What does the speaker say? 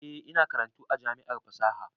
Eh, ina karatu a jami'ar fasaha